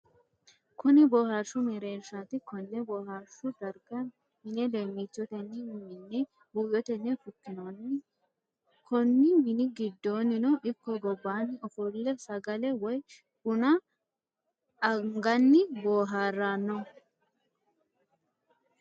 Kunni boohaarshu mereershaati. Konne boohaarshu darga mine leemichotenni mine buuyotenni fukinnonni. Konni minni gidoonnino iko gobaanni ofole sagale woyi bunna aganni boohaarano.